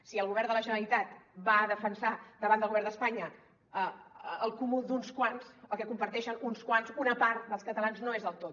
si el govern de la generalitat va a defensar davant del govern d’espanya el comú d’uns quants que comparteixen uns quants una part dels catalans no és el tot